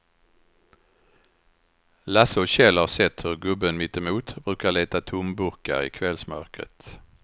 Lasse och Kjell har sett hur gubben mittemot brukar leta tomburkar i kvällsmörkret.